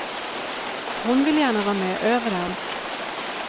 Hon vill gärna vara med överallt.